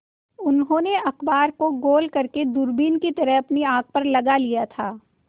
उन्होंने अखबार को गोल करने दूरबीन की तरह अपनी आँख पर लगा लिया था